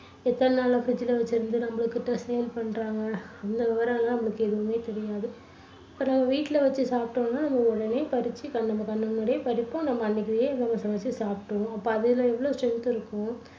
எத்தனை நாளா fridge ல வெச்சுருந்து நம்மகிட்ட sale பண்றாங்க, இந்த விபரம் எல்லாம் நம்மளுக்கு எதுவுமே தெரியாது. இப்போ வீட்டுல வச்சு சாப்பிட்டோம்னா நம்ம உடனே பறிச்சு நம்ம கண்ணு முன்னாடியே பறிப்போம், நம்ம அன்னைக்கே அதை சமைச்சு சாப்பிட்டுடுவோம்.